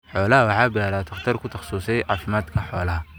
Xoolaha waxa baara dhakhtar ku takhasusay caafimaadka xoolaha.